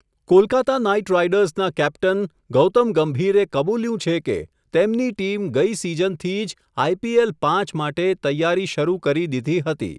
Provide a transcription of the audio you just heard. Kolkata night રાઇડર્સનના captain, Gautam ગંભીરે કબૂલ્યું છે કે, તેમની ટીમ ગઈ સીઝનથી જ, આઈપીએલ પાંચ માટે, તૈયારી શરુ કરી દીધી હતી.